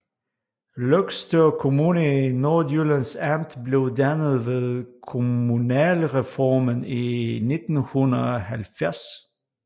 Løgstør Kommune i Nordjyllands Amt blev dannet ved kommunalreformen i 1970